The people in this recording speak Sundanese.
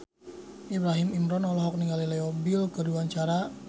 Ibrahim Imran olohok ningali Leo Bill keur diwawancara